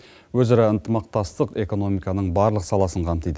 өзара ынтымақтастық экономиканың барлық саласын қамтиды